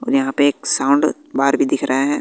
और यहां पे एक साउंड भी दिख रहा है।